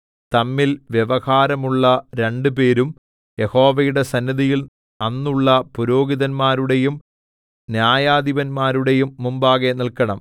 തമ്മിൽ വ്യവഹാരമുള്ള രണ്ടുപേരും യഹോവയുടെ സന്നിധിയിൽ അന്നുള്ള പുരോഹിതന്മാരുടെയും ന്യായാധിപന്മാരുടെയും മുമ്പാകെ നിൽക്കണം